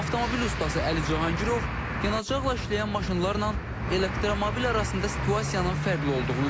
Avtomobil ustası Əli Cahangirov yanacaqla işləyən maşınlarla elektromobil arasında situasiyanın fərqli olduğunu deyir.